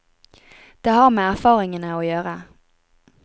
Det har med erfaringene å gjøre.